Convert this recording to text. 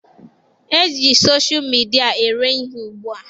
E ji sosha midịa ere ihe ugbua.